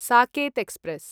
Saket express